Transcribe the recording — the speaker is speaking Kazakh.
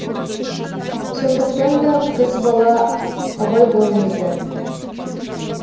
сондықтанда қыз бала абай болыңыздар